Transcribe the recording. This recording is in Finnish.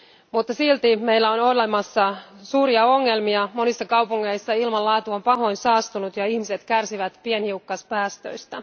Mutta silti meillä on olemassa suuria ongelmia monissa kaupungeissa ilmanlaatu on pahoin saastunut ja ihmiset kärsivät pienhiukkaspäästöistä.